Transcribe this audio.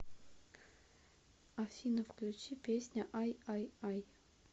афина включи песня ай ай ай